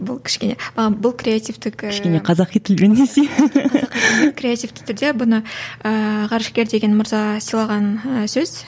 бұл кішкене ы бұл креативтік ііі кішкене қазақи тілмен десейші креативті түрде бұны ыыы ғарышкер деген мырза сыйлаған сөз